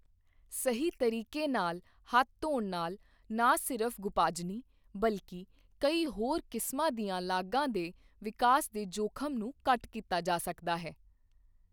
ਸਹੀ ਤਰੀਕੇ ਨਾਲ ਹੱਥ ਧੋਣ ਨਾਲ ਨਾ ਸਿਰਫ਼ ਗੁਪਾਜਨੀ, ਬਲਕਿ ਕਈ ਹੋਰ ਕਿਸਮਾਂ ਦੀਆਂ ਲਾਗਾਂ ਦੇ ਵਿਕਾਸ ਦੇ ਜੋਖਮ ਨੂੰ ਘੱਟ ਕੀਤਾ ਜਾ ਸਕਦਾ ਹੈ।